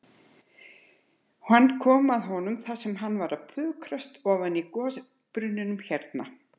Hann kom að honum þar sem hann var að pukrast ofan í gosbrunninum hérna.